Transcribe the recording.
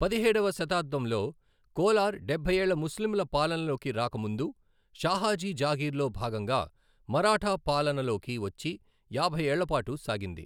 పదిహేడవ శతాబ్దంలో కోలార్ డెభ్బై ఏళ్ల ముస్లింల పాలనలోకి రాక ముందు షాహాజీ జాగీర్లో భాగంగా మరాఠా పాలనలోకి వచ్చి యాభై ఏళ్లపాటు సాగింది.